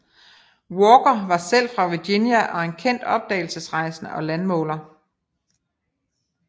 Walker var selv fra Virginia og en kendt opdagelsesrejsende og landmåler